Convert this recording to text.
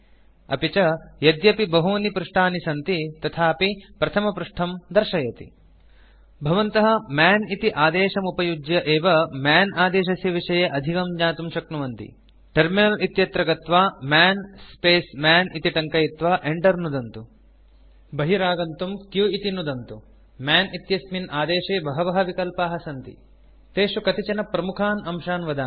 अपि च यद्यपि बहूनि पृष्ठानि सन्ति तथापि प्रथमपृष्ठं दर्शयति भवन्तः मन् इति आदेशमुपयुज्य एव मन् आदेशस्य विषये अधिकं ज्ञातुं शक्नुवन्ति टर्मिनल इत्यत्र गत्वा मन् स्पेस् मन् इति टङ्कयित्वा enter नुदन्तु बहिरागन्तुं q इति नुदन्तु मन् इत्यस्मिन् आदेशे बहवः विकल्पाः सन्ति तेषु कतिचन प्रमुखान् अंशान् वदामि